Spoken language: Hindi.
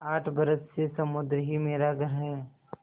आठ बरस से समुद्र ही मेरा घर है